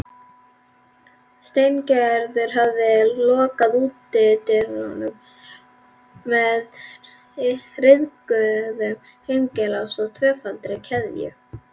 Steingerður hafði lokað útidyrunum með ryðguðum hengilás og tvöfaldri keðju.